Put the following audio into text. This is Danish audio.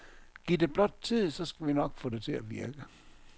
Giv det blot tid, så skal vi nok få det til at virke.